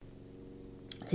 TV 2